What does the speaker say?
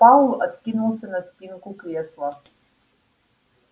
пауэлл откинулся на спинку кресла